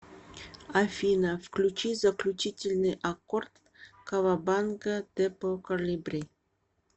афина включи заключительный аккорд кавабанга депо колибри